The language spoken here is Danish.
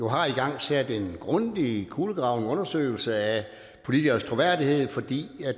har igangsat en grundig kulegravning eller undersøgelse af politikeres troværdighed fordi